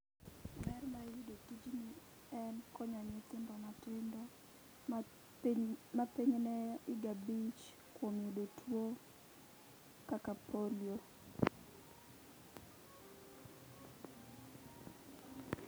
Ber ma iyude tijni en konyo nyithindo matindo ma pod higa abich kuom yudo tuo kaka polio